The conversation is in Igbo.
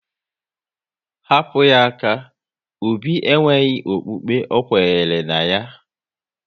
Hapụ ya aka! Obi e nweghị okpukpe ọkwenyere na ya